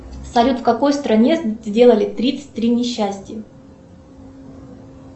салют в какой стране сделали тридцать три несчастья